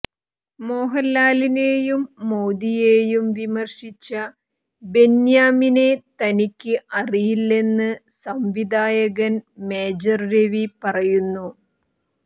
മോഹലാലിനെയും മോദിയെയും വിമര്ശിച്ച ബെന്യാമിനെ തനിക്ക് അറിയില്ലെന്ന് സംവിധായകന് മേജര് രവി പറയുന്നു